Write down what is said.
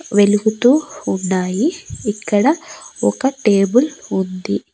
వెలుగుతూ ఉన్నాయి. ఇక్కడ ఒక టేబుల్ ఉంది.